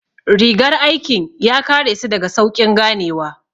Rigar aikin ya kare su daga sauƙin ganewa